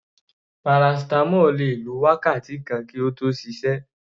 Paracetamol le lò tó wákàtí kan kí ó tó ṣiṣẹ́.